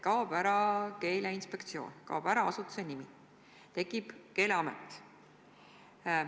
Kaob ära Keeleinspektsioon, kaob ära asutuse nimi, tekib Keeleamet.